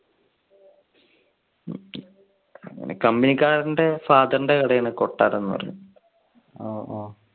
പിന്നെ company കാരന്റെ father ന്റെ കട ആണ് കൊട്ടാരം എന്ന് പറഞ്ഞത്. ഓ ഓ